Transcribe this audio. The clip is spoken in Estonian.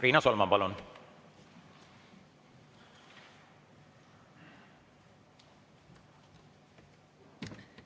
Riina Solman, palun!